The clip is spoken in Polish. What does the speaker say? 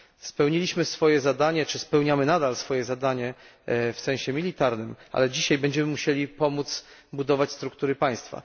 Spełniliśmy swoje zadanie, czy spełniamy nadal swoje zadanie w sensie militarnym, ale dzisiaj będziemy musieli pomóc budować struktury państwa.